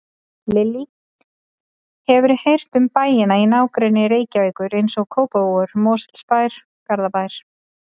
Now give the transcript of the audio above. Lillý: Hefurðu heyrt um bæina í nágrenni Reykjavíkur, eins og Kópavogur, Mosfellsbær, Garðabær?